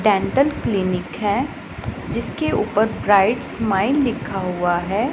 Dental clinic है जिसके ऊपर ब्राइट स्माइल लिखा हुआ है।